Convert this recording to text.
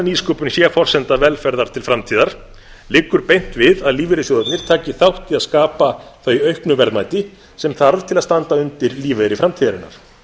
nýsköpun sé forsenda velferðar til framtíðar liggur beint við að lífeyrissjóðirnir taki þátt í að skapa þau auknu verðmæti sem þarf til að standa undir lífeyri framtíðarinnar